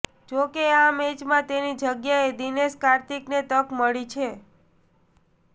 જોકે આ મેચમાં તેની જગ્યાએ દિનેશ કાર્તિકને તક મળી છે